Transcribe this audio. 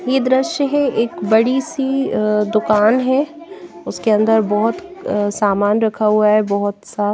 ये दृश्य हैं एक बड़ी सी दुकान हैं उसके अंदर बहुत अ सामान रखा हुआ हैं बहुत सा--